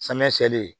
Samiyɛ seyɛli ye